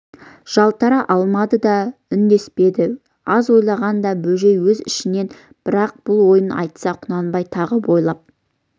жалтара алмады да үндеспеді аз ойлағанда бөжей өз ішінен бірақ бұл ойын айтса құнанбай тағы бойлап